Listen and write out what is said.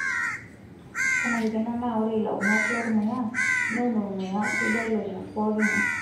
Kenarikino naa ore ilaunok lormuya neun ormuya sidai lonyorr poking'ae.